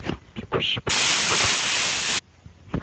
бегущий по лезвию покажи